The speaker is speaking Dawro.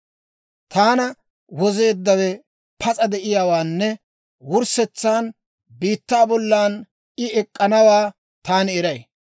«Taana Wozeeddawe pas'a de'iyaawaanne wurssetsan biittaa bollan I ek'k'anawaa taani eray.